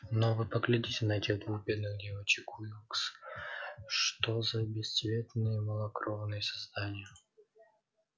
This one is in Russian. но вы поглядите на этих двух бедных девочек уилкс что за бесцветные малокровные создания